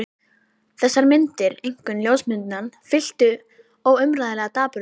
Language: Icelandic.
Þessar myndir, einkum ljósmyndirnar, fylltu mig óumræðilegum dapurleika.